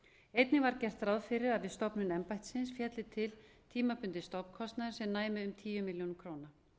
einnig var gert ráð fyrir að við stofnun embættisins félli til tímabundinn stofnkostnaður sem næmi um tíu milljónir króna